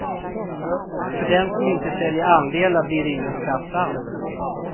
För den som inte säljer andelar blir det ingen skatt alls.